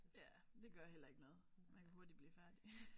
Ja men det gør heller ikke noget man kan hurtigt blive færdig